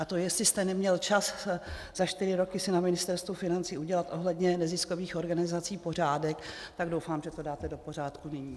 A to, jestli jste neměl čas za čtyři roky si na Ministerstvu financí udělat ohledně neziskových organizací pořádek, tak doufám, že to dáte do pořádku nyní.